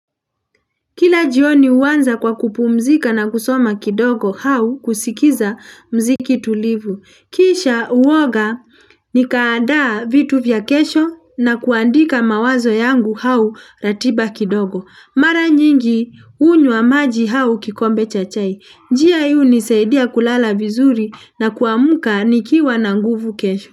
Kila jioni huanza kwa kupumzika na kusoma kidogo hau kusikiza mziki tulivu. Kisha huoga nikaadaa vitu vya kesho na kuandika mawazo yangu hau ratiba kidogo. Mara nyingi hunywa maji hau kikombe chachai. Njia hii hunisaidia kulala vizuri na kuamuka nikiwa na nguvu kesho.